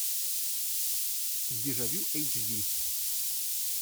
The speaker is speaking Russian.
дежавю эйч ди